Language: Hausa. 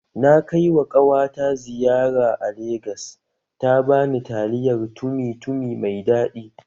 Na kaiwa ƙawata ziyara a Legas ta bani taliyar tumi tumi mai daɗi